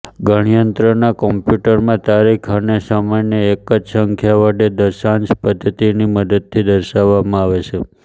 ગણનયંત્ર કોમ્યુટરમાં તારીખ અને સમયને એક જ સંખ્યા વડે દશાંસ પદ્દત્તિની મદદથી દર્શાવવામાં આવે છે